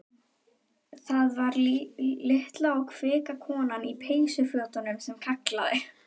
Það var litla og kvika konan í peysufötunum sem kallaði.